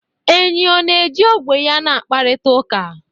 Enyí ọ na-eji ogwe ya na-akparịta ụka?